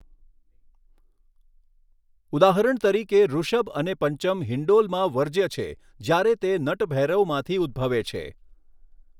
ઉદાહરણ તરીકે, ઋષભ અને પંચમ હિન્ડોલમાં વર્જ્ય છે જ્યારે તે નટભૈરવમાંથી ઉદ્ભવે છે.